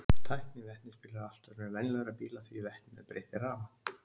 Tækni vetnisbíla er allt önnur en venjulegra bíla því vetninu er breytt í rafmagn.